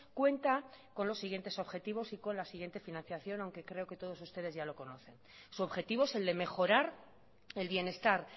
cuenta con los siguientes objetivos y con la siguiente financiación aunque creo que todos ustedes ya lo conocen su objetivo es el de mejorar el bienestar